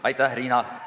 Aitäh, Riina!